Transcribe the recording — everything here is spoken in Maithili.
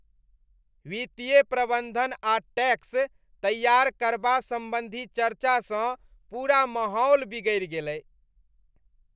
वित्तीय प्रबंधन आ टैक्स तैआर करबा सम्बन्धी चर्चासँ पूरा माहौल बिगड़ि गेलै।